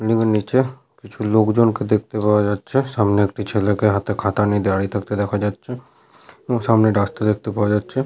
Building এর নিচে কিছু লোকজনকে দেখতে পাওয়া যাচ্ছে। সামনে একটি ছেলেকে হাতে খাতা নিয়ে দাঁড়িয়ে থাকতে দেখা যাচ্ছে এবং সামনে রাস্তা দেখতে পাওয়া যাচ্ছে।